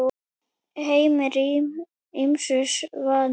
Heimir: Ýmsu vanur?